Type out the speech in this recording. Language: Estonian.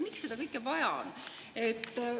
Miks seda kõike vaja on?